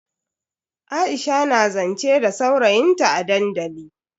Aisha na zance da saurayin ta a dandali.